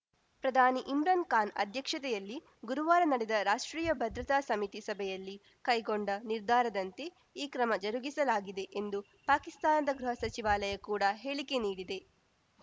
ಪ್ರಧಾನಿ ಇಮ್ರಾನ್‌ ಖಾನ್‌ ಅಧ್ಯಕ್ಷತೆಯಲ್ಲಿ ಗುರುವಾರ ನಡೆದ ರಾಷ್ಟ್ರೀಯ ಭದ್ರತಾ ಸಮಿತಿ ಸಭೆಯಲ್ಲಿ ಕೈಗೊಂಡ ನಿರ್ಧಾರದಂತೆ ಈ ಕ್ರಮ ಜರುಗಿಸಲಾಗಿದೆ ಎಂದು ಪಾಕಿಸ್ತಾನದ ಗೃಹ ಸಚಿವಾಲಯ ಕೂಡ ಹೇಳಿಕೆ ನೀಡಿದೆ